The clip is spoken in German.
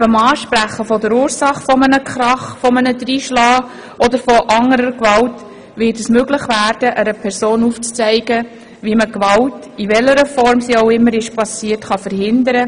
Neben dem Ansprechen der Ursache eines Krachs, eines Dreinschlagens oder anderer Formen von Gewalt kann einer Person aufgezeigt werden, wie man Gewalt verhindern kann, in welcher Form diese auch immer geschehen ist.